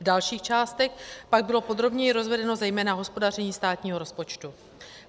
V dalších částech pak bylo podrobněji rozvedeno zejména hospodaření státního rozpočtu.